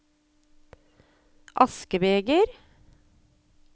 askebeger